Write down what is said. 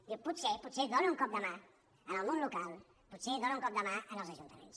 dius potser dóna un cop de mà al món local potser dóna un cop de mà als ajuntaments